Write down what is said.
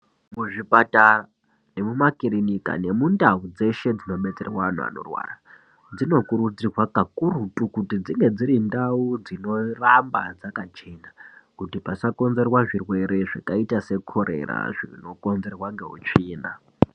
Kuzvipatara nemumakirinika nemundau dzeshe dzinobetserwa anhu anorwara, dzinokurudzirwa kakurutu kuti dzinge dziri ndau dzinorapa dzakachena, kuti pasakonzerwa zvirwere zvakaita sekorera zvinokonzerwa neutsvina.